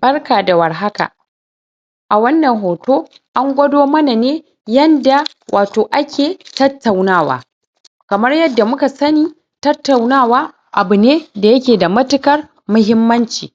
barka da warhaka a wannan hoto a gwado mana ne yanda watau ake tattaunawa kamar yadda muka sani tattaunawa abu ne da yake da mattukar muhimmanci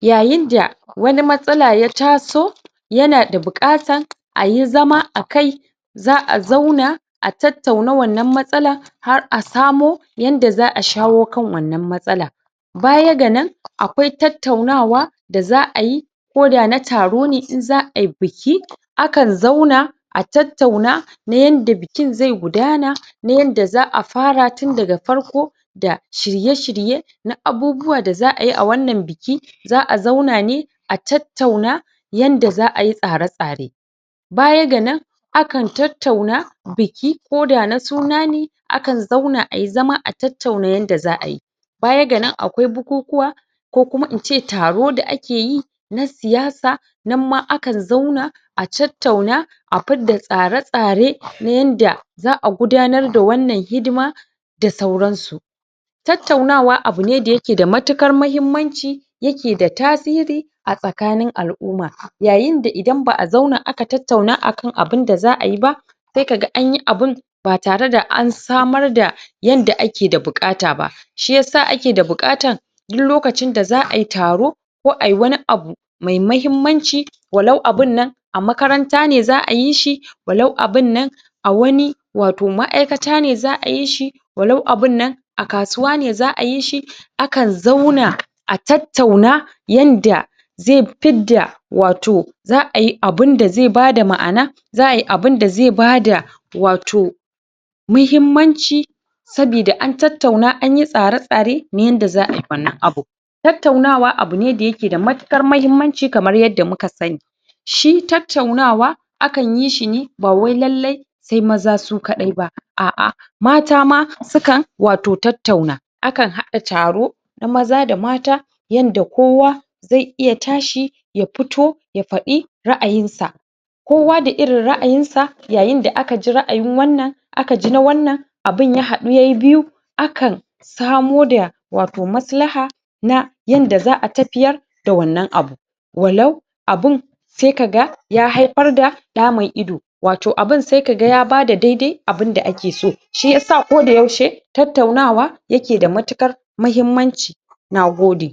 yayin da wani matsala ya taso ya na da bukata a yi zama a kai za'a zauna a tattauna wannan matsala har a samo yanda za'a shawo kan wannan matsala baya ga nan akwai tattaunawa da za'a yi ko da na taro ne in za'a yi biki akan zauna a tattauna na yanda bikin zai gudana na yanda za'a fara tun daga farko da shirye shirye na abubuwa da za'a yi a wannan biki za'a zauna ne a tattauna yanda za a yi tsare tsare baya ga nan akan tattauna biki ko da na suna ne akan zauna a yi zama a tattauna yanda za'a yi baya ga nan akwai bukukuwa ko kuma ince taro da ake yi na siyasa nan ma akan zauna a tattauna a fi da tsare tsare na yanda za'a gudanar da wannan hidima da sauran su tattaunawa abu ne da ya ke da mattukar muhimanci ya ke da tasiri a tsakanin al'uma yayin da idan ba'a zauna aka tattauna akan abin da za'a yi ba sai ka ga an yi abun ba tare da an samar da yande ake da bukata ba shi yasa ake da bukata duk lokacin da za'a yi taro ko wani abu mai muhimmanci walau abunnan makaranta ne za'a yi shi walau abunnana wani toh ma'aikata ne za'a yi shi walau abun nan a kasuwa ne za'a yi shi akan zauna a tattauna yanda zai fi da watau za'a yi abun da zai ba da ma'ana za'ayi abun da zai ba da watau muhimmanci sobida an tattauna an yi tsare tsare na yanda za'a yi wannan abu tattaunawa abu ne da ya ke da mattukar muhimmanci kamar yadda muka sani shi tattaunawa akan yi shi ne ba wai lalai sai maza su kadai ba a'a mata ma sukan watau tattauna akan hada taro na maza da mata yan da kowa zai iya tashi ya fito ya fadi ra'ayin sa kowa da irin ra'ayinsa yayin da aka jira a yi wannan aka ji na wannan abun ya hadu yayi biyu akan samo da watau maslaha na yanda za'a tafiyar da wannan abu walau abunsai ka ga ya haifar da damun ido watau abun sai ka ga ya ba da daidai abun da ake so shi ya sa ko da yaushe tattaunawa ya na da mattukar muhimmanci nagode